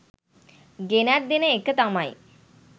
ගෙනැත් දෙන එක තමයි